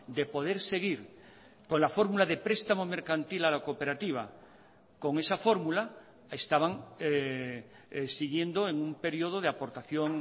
de poder seguir con la fórmula de prestamo mercantil a la cooperativa con esa fórmula estaban siguiendo en un periodo de aportación